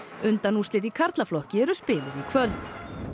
undanúrslit í karlaflokki eru spiluð í kvöld